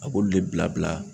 A b'olu de bila bila